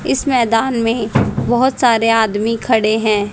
इस मैदान में बहोत सारे आदमी खड़े हैं।